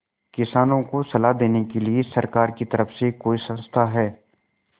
किसानों को सलाह देने के लिए सरकार की तरफ से कोई संस्था है